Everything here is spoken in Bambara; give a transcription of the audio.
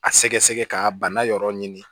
A sɛgɛsɛgɛ ka bana yɔrɔ ɲini